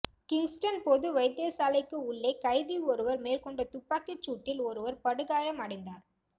Kingston பொது வைத்தியசாலைக்கு உள்ளே கைதி ஒருவர் மேற்கொண்ட துப்பாக்கிச் சூட்டில் ஒருவர் படுகாயம் அடை